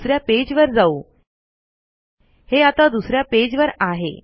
दुसऱ्या पेज वर जाऊहे आता दुसऱ्या पेज वर आहे